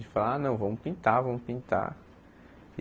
De falar, não, vamos pintar, vamos pintar.